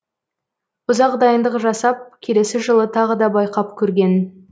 ұзақ дайындық жасап келесі жылы тағы да байқап көрген